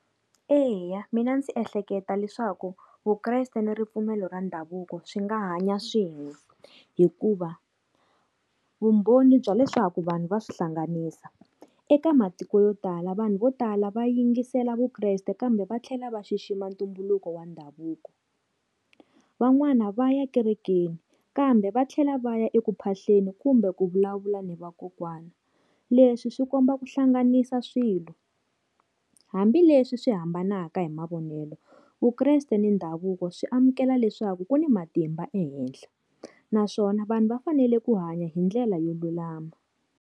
Eya mina ndzi ehleketa leswaku Vukreste ni ripfumelo ra ndhavuko swi nga hanya swin'we, hikuva vumbhoni bya leswaku vanhu va swi hlanganisa. Eka matiko yo tala vanhu vo tala va yingisela Vukreste kambe va tlhela va xixima ntumbuluko wa ndhavuko. Van'wani va ya kerekeni kambe va tlhela va ya eku mphahleni kumbe ku vulavula ni vakokwana. Leswi swi komba ku hlanganisa swilo hambileswi swi hambanaka hi mavonelo, vukreste ni ndhavuko swi amukela leswaku ku ni matimba ehehla naswona vanhu va fanele ku hanya hindlela yo lulama.